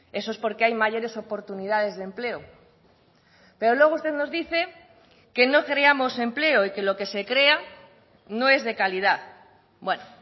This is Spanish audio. eso es porque hay mayores oportunidades de empleo pero luego usted nos dice que no creamos empleo y que lo que se crea no es de calidad bueno